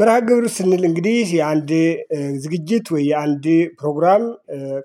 መርሃግብር ስንል እንግዲህ የአንድ ዝግጅት ወይ የአንድ ፕሮግራም